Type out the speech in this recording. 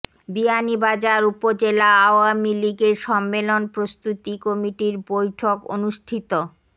বিয়ানীবাজার উপজেলা আওয়ামী লীগের সম্মেলন প্রস্তুতি কমিটির বৈঠক অনুষ্ঠিত